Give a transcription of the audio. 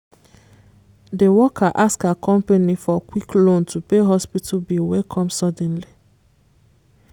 the worker ask her company for quick loan to pay hospital bill wey come suddenly.